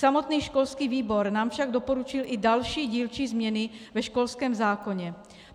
Samotný školský výbor nám však doporučil i další dílčí změny ve školském zákoně.